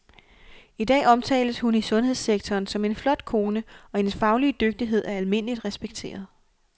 I dag omtales hun i sundhedssektoren som en flot kone, og hendes faglige dygtighed er almindeligt respekteret.